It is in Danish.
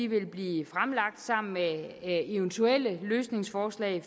vil blive fremlagt sammen med eventuelle løsningsforslag